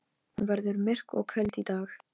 Hún vill komast út í góða veðrið.